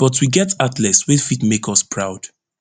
but we get athletes wey fit make us proud